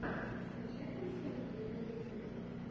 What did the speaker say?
скачай концерты на ютубе